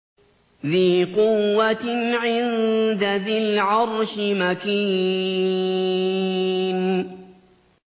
ذِي قُوَّةٍ عِندَ ذِي الْعَرْشِ مَكِينٍ